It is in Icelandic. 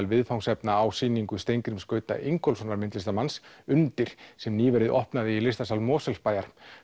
viðfangsefna á sýningu Steingríms Gauta Ingólfssonar myndlistarmanns sem nýverið opnaði í listasal Mosfellsbæjar